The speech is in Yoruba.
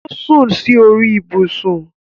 O sún sí orí ibùsùn